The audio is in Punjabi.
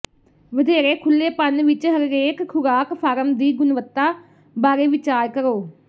ਵਧੇਰੇ ਖੁਲੇਪਨ ਵਿੱਚ ਹਰੇਕ ਖੁਰਾਕ ਫਾਰਮ ਦੀ ਗੁਣਵੱਤਾ ਬਾਰੇ ਵਿਚਾਰ ਕਰੋ